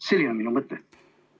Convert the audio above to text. Selline on minu mõte.